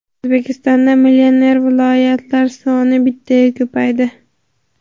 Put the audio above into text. O‘zbekistonda millioner viloyatlar soni bittaga ko‘paydi.